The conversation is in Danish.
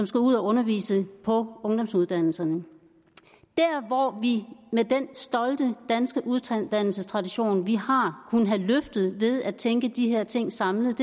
skal ud at undervise på ungdomsuddannelserne der hvor vi med den stolte danske uddannelsestradition vi har kunne have løftet ved at tænke de her ting samlet